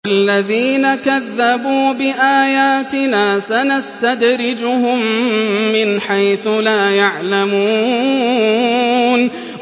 وَالَّذِينَ كَذَّبُوا بِآيَاتِنَا سَنَسْتَدْرِجُهُم مِّنْ حَيْثُ لَا يَعْلَمُونَ